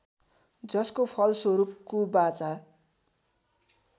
जसको फलस्वरूप कुबाचा